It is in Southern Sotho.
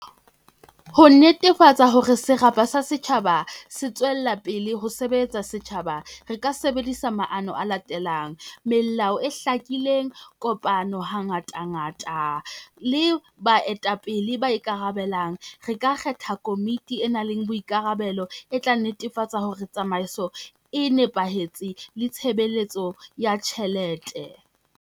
Ho netefatsa hore serapa sa setjhaba se tswella pele ho sebetsa setjhaba, re ka sebedisa maano a latelang. Melao e hlakileng, kopano hangata ngata le baetapele ba ikarabelang. Re ka kgetha komiti e nang le boikarabelo e tla netefatsa hore tsamaiso e nepahetse le tshebeletso ya tjhelete.